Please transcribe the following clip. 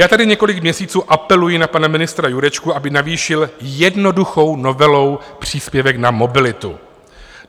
Já tady několik měsíců apeluji na pana ministra Jurečku, aby navýšil jednoduchou novelou příspěvek na mobilitu.